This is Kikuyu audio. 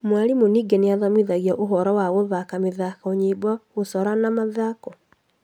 Mwarimũ ningĩ nĩmathomithagio ũhoro wa gũthaka mĩthako nyĩmbo gũcora na mathako